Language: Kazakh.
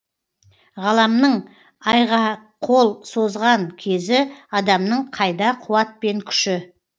ғаламның айғақол созған кезі адамның қайда қуат пен күші